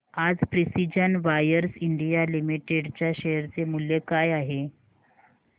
आज precision wires India limited च्या share चे मूल्य काय आहे